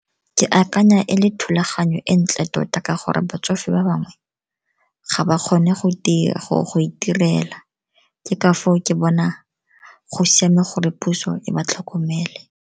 Ke akanya e le thulaganyo e ntle tota ka gore batsofe ba bangwe ga ba kgone go itirela, ke ka foo ke bona go siame gore puso e ba tlhokomele.